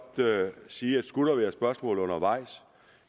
sige at skulle der være spørgsmål undervejs